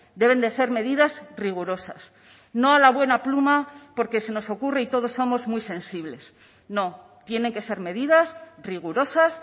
deben de ser medidas rigurosas no a la buena pluma porque se nos ocurre y todos somos muy sensibles no tienen que ser medidas rigurosas